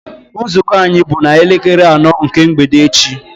Nzukọ anyị bụ na elekere anọ nke mgbede echi